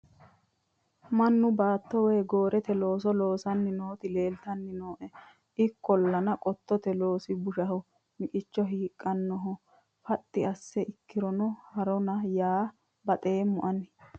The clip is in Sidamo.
mannu baatto woy gooreete looso loosanni nooti leeltanni nooe ikkollana qottote loosi bushshaho miqicho hiiqqannoho faxxi asse ikkirono heerona yaa baxeemmo ani